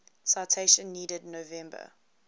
citation needed november